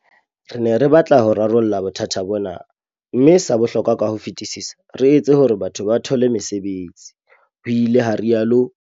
Re ne re batla ho rarolla bothata bona, mme sa bohlokwa ka ho fetisisa, re etse hore batho ba thole mesebetsi, ho ile ha rialo.